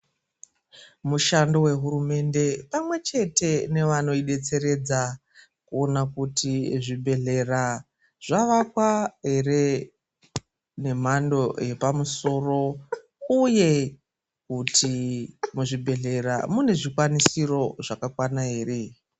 Mushando wehurumende pamwechete nevanoidetseredza kuona kuti zvibhehlera zvavakwa here nemhando yepamusoro uye kuti muzvibhehlera mune zvikwanisiro zvakakwana here.